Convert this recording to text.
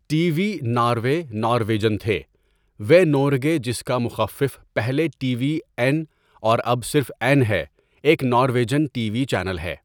T V Norway Norwegian تھے وے نورگے جس کا مخفف پہلے ٹی ۄی این اور اب صرف این ہے ایک نارویجن ٹی وی چینل ہے.